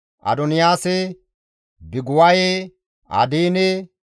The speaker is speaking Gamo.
Adoniyaasa, Biguwaye, Adiine,